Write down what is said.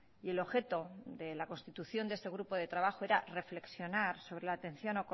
y el objeto de la constitución de este grupo de trabajo era reflexionar sobre la atención